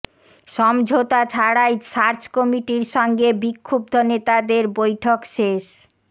সমঝোতা ছাড়াই সার্চ কমিটির সঙ্গে বিক্ষুব্ধ নেতাদের বৈঠক শেষ